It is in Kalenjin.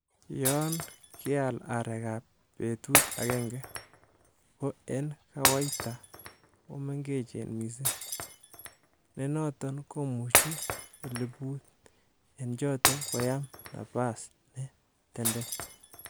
Yon keal areek ab betut agenge, ko en kawaita komengechen missing, nenoton komuche eliput en choton koyaam napas ne tenden.